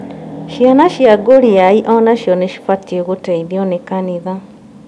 Ciana cia ngũriai o nacio nĩcibatiĩ gũteithio nĩ kanitha